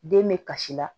Den bɛ kasi la